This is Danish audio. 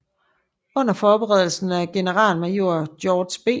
Under forberedelsen af generalmajor George B